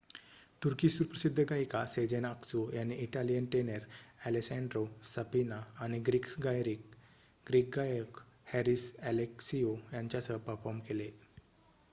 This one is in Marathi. तुर्की सुप्रसिद्ध गायिका सेझेन आक्सू यांनी इटालियन टेनर ॲलेसँड्रो सफिना आणि ग्रीक गायक हॅरिस ॲलेक्सिओ यांच्यासह परफॉर्म केले